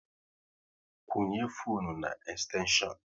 Kwunye fone na ekstenshion